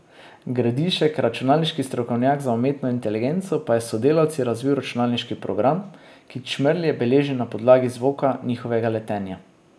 Gradišek, računalniški strokovnjak za umetno inteligenco, pa je s sodelavci razvil računalniški program, ki čmrlje beleži na podlagi zvoka njihovega letenja.